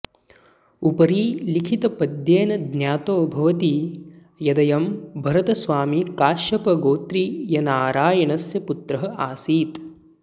उपरिलिखितपद्येन ज्ञातो भवति यदयं भरतस्वामी काश्यपगोत्रीयनारायणस्य पुत्रः आसीत्